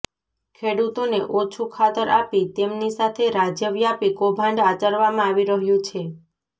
ખેડૂતોને ઓછૂ ખાતર આપી તેમની સાથે રાજ્યવ્યાપી કૌભાંડ આચરવામા આવી રહ્યું છે